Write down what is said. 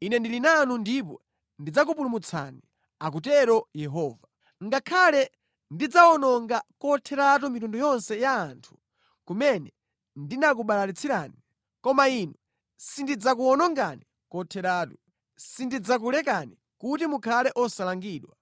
Ine ndili nanu ndipo ndidzakupulumutsani,’ akutero Yehova. ‘Ngakhale ndidzawononga kotheratu mitundu yonse ya anthu kumene ndinakubalalitsirani, koma inu sindidzakuwonongani kotheratu. Sindidzakulekani kuti mukhale osalangidwa.